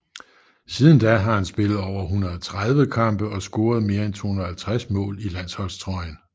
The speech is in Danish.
Siden da har han spillet over 130 kampe og scoret mere end 250 mål i landsholdstrøjen